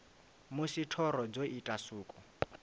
musi thoro dzo ita suko